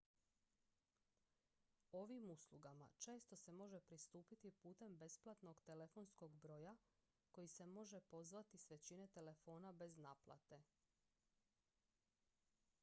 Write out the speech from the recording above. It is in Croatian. ovim uslugama često se može pristupiti putem besplatnog telefonskog broja koji se može pozvati s većine telefona bez naplate